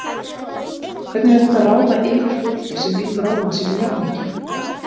Hvernig er hægt að ráða yfir fólki sem lítur á mann sem jafningja?